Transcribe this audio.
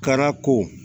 Kara ko